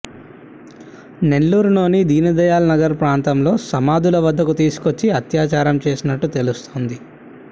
నెల్లూరులోని దీనదయాల్ నగర్ ప్రాంతంలో సమాధుల వద్దకు తీసుకొచ్చి అత్యాచారం చేసినట్టు తెలుస్తోంది